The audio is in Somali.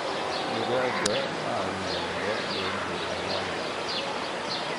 Digaagga maalin walba beed bay dhalaan.